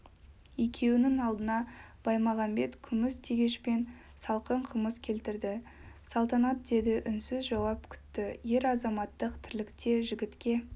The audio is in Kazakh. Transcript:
екеуінің алдына баймағамбет күміс тегешпен салқын қымыз келтірді салтанат деді үнсіз жауап күтті ер-азаматтық тірлікте жігітке